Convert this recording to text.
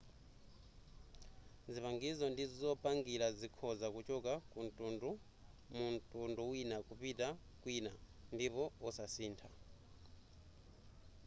zipangizo ndi zopangira zikhoza kuchoka mu mtundu wina kupita kwina ndipo osasintha